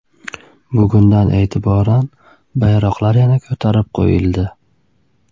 Bugundan e’tiboran bayroqlar yana ko‘tarib qo‘yildi.